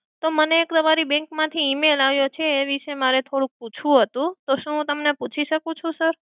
તો મને તમારી bank માંથી email આવ્યો છે એ વિષે મારે થોડું પૂછવું હતું. તો શું હું તમને પૂછી શકું છું sir?